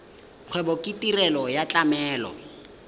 kgwebo ke tirelo ya tlamelo